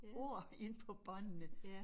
Ord ind på båndene